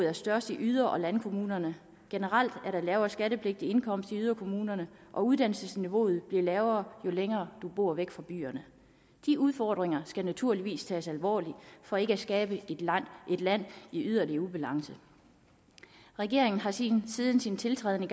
er størst i yder og landkommunerne generelt er der lavere skattepligtig indkomst i yderkommunerne og uddannelsesniveauet bliver lavere jo længere man bor væk fra byerne de udfordringer skal naturligvis tages alvorligt for ikke at skabe et land i yderligere ubalance regeringen har siden sin tiltrædelse